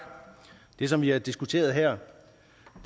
det som vi har diskuteret her